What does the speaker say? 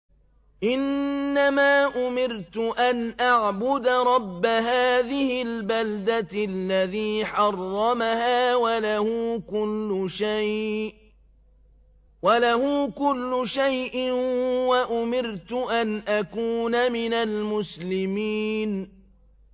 إِنَّمَا أُمِرْتُ أَنْ أَعْبُدَ رَبَّ هَٰذِهِ الْبَلْدَةِ الَّذِي حَرَّمَهَا وَلَهُ كُلُّ شَيْءٍ ۖ وَأُمِرْتُ أَنْ أَكُونَ مِنَ الْمُسْلِمِينَ